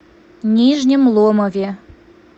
нижнем ломове